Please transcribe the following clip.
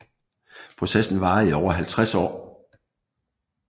Processen varede i over 50 år